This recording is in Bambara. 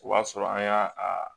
O b'a sɔrɔ an y'a a